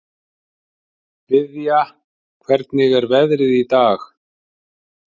Viðja, hvernig er veðrið í dag?